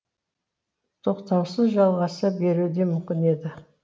тоқтаусыз жалғаса беруі де мүмкін еді